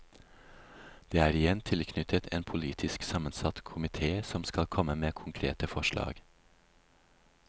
Det er igjen tilknyttet en politisk sammensatt komité som skal komme med konkrete forslag.